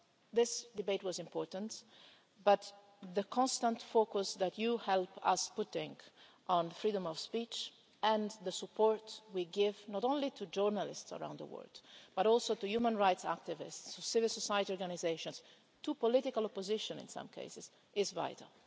This debate was important, but the constant focus that you help us to put on freedom of speech and the support we give not only to journalists around the world, but also to human rights activists, civil society organisations, and to political opposition in some cases is vital.